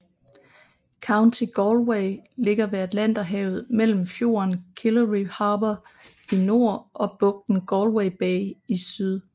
County Galway ligger ved Atlanterhavet mellem fjorden Killary Harbour i nord og bugten Galway Bay i syd